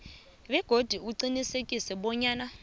begodu uqinisekise bonyana